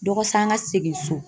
Dɔgɔsa an ka segin so.